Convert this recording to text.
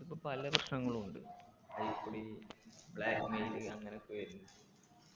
പല പ്രശ്നങ്ങളു ണ്ട് blackmail അങ്ങനൊക്കെ വെര്ന്ന്